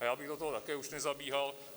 A já bych do toho také už nezabíhal.